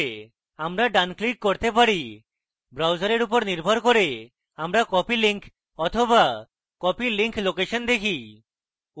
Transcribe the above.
আমরা ডান click করতে পারি browser or নির্ভর copy আমরা copy link বা copy link location দেখি